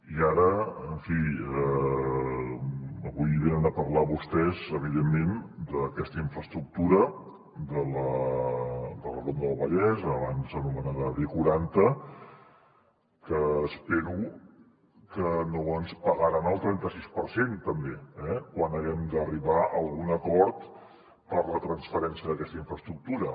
i ara en fi avui venen a parlar vostès evidentment d’aquesta infraestructura de la ronda del vallès abans anomenada b quaranta que espero que no ens pagaran el trenta sis per cent també eh quan haguem d’arribar a algun acord per a la transferència d’aquesta infraestructura